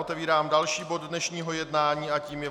Otevírám dalším bod dnešního jednání a tím je